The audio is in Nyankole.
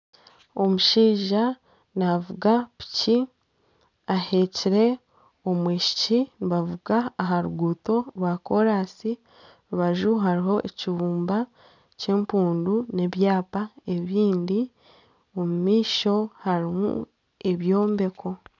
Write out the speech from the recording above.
Omushaija navuga piki aheekire omwishiki navuga aha ruguuto rwa koraansi aha rubaju hariho ekibumba kyempundu nana ebyapa ebindi omu maisho harimu ebyombeko